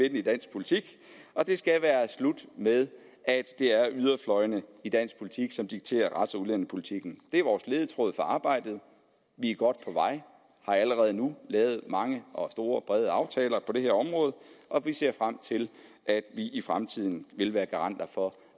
politik og det skal være slut med at det er yderfløjene i dansk politik som dikterer rets og udlændingepolitikken det er vores ledetråd for arbejdet vi er godt på vej og har allerede nu lavet mange og store og brede aftaler på det her område og vi ser frem til at vi i fremtiden vil være garanter for